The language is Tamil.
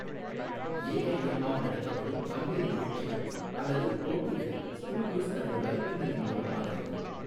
எஐஎம் மால் நடத்தப்படும் பல்வேறு நிகழ்ச்சிகள் அல்லது போட்டிகளை ஸ்கூநியூஸ் தனது வலைப்பின்னலின் மூலம் ஆதரிக்கும்.